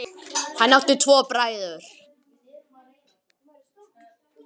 Hann átti tvo bræður.